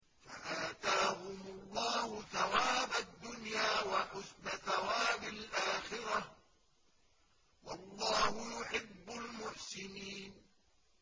فَآتَاهُمُ اللَّهُ ثَوَابَ الدُّنْيَا وَحُسْنَ ثَوَابِ الْآخِرَةِ ۗ وَاللَّهُ يُحِبُّ الْمُحْسِنِينَ